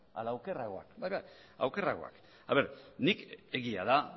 bai bai okerragoak egia da nik